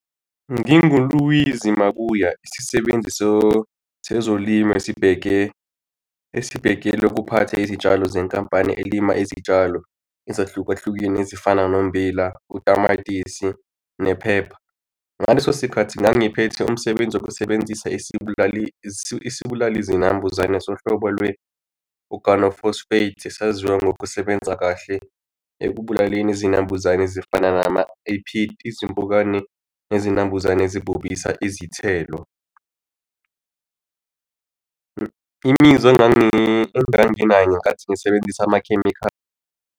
NginguLizwi Mabuya isisebenzi sezolimo esibheke esibhekele ukuphatha izitshalo zenkampani elima izitshalo ezahlukahlukene ezifana nombila, utamatisi, ne-pepper. Ngaleso sikhathi ngangiphethe umsebenzi wokusebenzisa isibulali isibulali zinambuzane sohlobo lwe-organophosphate esaziwa ngokusebenza kahle ekubulaleni izinambuzane ezifana nama-ephit izimpukane nezinambuzane zibolisa izithelo. Imizwa enganginayo ngenkathi ngisebenzisa amakhemikhali.